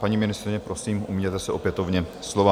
Paní ministryně, prosím, ujměte se opětovně slova.